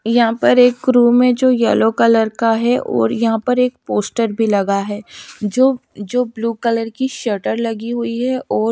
यहाँ पर एक रूम है जो यलो कलर का है और यहाॅं पर एक पोस्टर भी लगा है जो जो ब्लू कलर की शटर लगी हुई है और --